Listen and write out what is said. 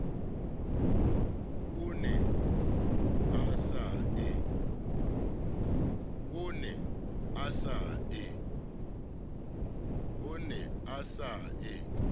o ne o sa e